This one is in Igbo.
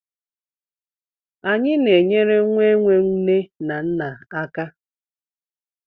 Anyị na-enyere nwa enwe nne na nna aka.